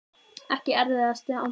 Ekki erfiðasti andstæðingur?